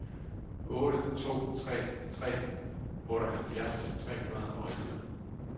otte to tre tre otteoghalvfjerds tre hundrede og elleve